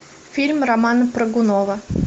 фильм романа прыгунова